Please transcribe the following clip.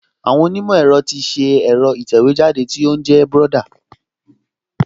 Àwọn onímọ̀ ẹ̀rọ ti ṣe ẹ̀rọ ìtẹ̀wéjáde tó ń jẹ́ Brother